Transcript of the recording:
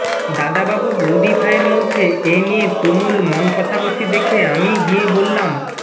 দাদাবাবু বৌদিভায়ের মধ্যে এ নিয়ে তুমুল মন কষাকষি দেখে আমিই গিয়ে বললাম